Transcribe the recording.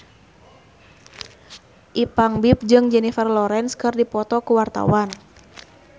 Ipank BIP jeung Jennifer Lawrence keur dipoto ku wartawan